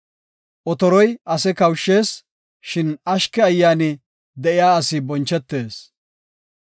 Otoroy ase kawushshees; shin ashke ayyaani de7iya asi bonchetees.